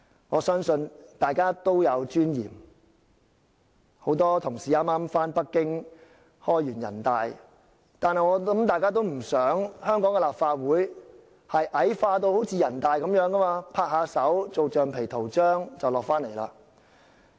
我相信大家都有尊嚴，很多同事剛剛到北京參加全國人民代表大會會議，我想大家都不想香港立法會矮化得像人大一樣，成為拍手通過議案的橡皮圖章。